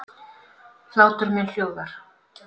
Hlátur minn hljóðar.